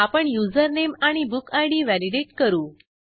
आपण युजरनेम आणि book ID validate करू